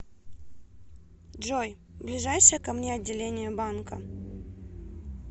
джой ближайшее ко мне отделение банка